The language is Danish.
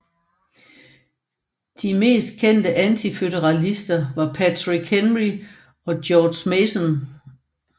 De mest kendte antiføderalister var Patrick Henry og George Mason